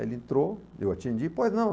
Ele entrou, eu atendi, pois não.